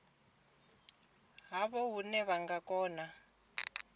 havho hune vha nga kona